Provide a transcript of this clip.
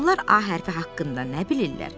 Onlar A hərfi haqqında nə bilirlər?